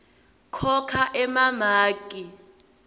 khokha emamaki